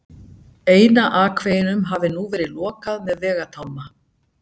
Eina akveginum hafi nú verið lokað með vegatálma.